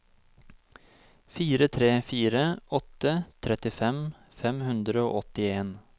fire tre fire åtte trettifem fem hundre og åttien